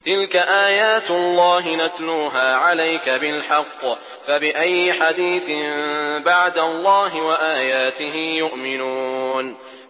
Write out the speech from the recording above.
تِلْكَ آيَاتُ اللَّهِ نَتْلُوهَا عَلَيْكَ بِالْحَقِّ ۖ فَبِأَيِّ حَدِيثٍ بَعْدَ اللَّهِ وَآيَاتِهِ يُؤْمِنُونَ